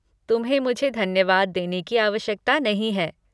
तुम्हें मुझे धन्यवाद देने की आवश्यकता नहीं है।